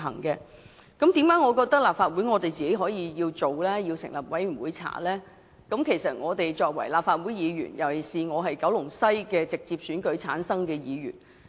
我認為立法會應自行成立專責委員會調查，是因為我是立法會議員，特別是九龍西的直選議員。